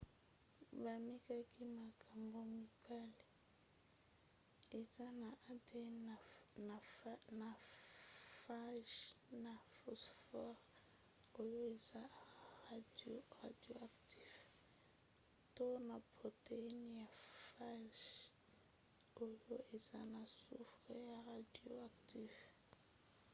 bamekaki makambo mibale eza na adn na phage na phosphore oyo eza radioactif to na protéine ya phage oyo eza na soufre ya radioactif